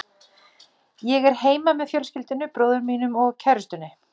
Ég er heima með fjölskyldunni, bróður mínum og kærustunni.